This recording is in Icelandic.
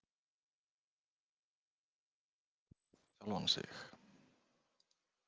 Hann sagðist vera óánægður með sjálfan sig.